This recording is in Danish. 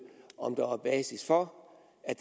om der er basis for at